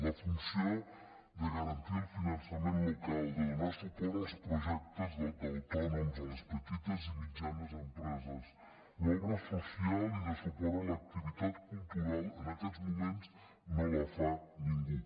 la funció de garantir el finançament local de donar suport als projectes d’autònoms a les petites i mitjanes empreses l’obra social i de suport a l’activitat cultural en aquests moments no la fa ningú